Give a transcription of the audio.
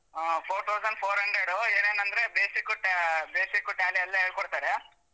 ಹಾ four thousand four hundred ಏನೇನಂದ್ರೆ basic, ta~ basic tally ಎಲ್ಲ ಹೇಳ್ಕೋಡ್ತಾರೆ.